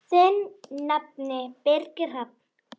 Þinn nafni, Birgir Hrafn.